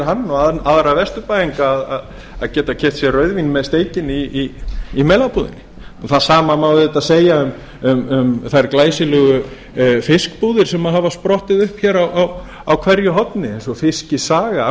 hann og aðra vesturbæinga að geta keypt sér rauðvín með steikinni í melabúðinni það sama má auðvitað segja um þær glæsilegu fiskbúðir sem hafa sprottið upp á hverju horni eins og fiskisaga af